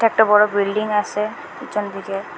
একটা বড় বিল্ডিং আসে পিছন দিকে।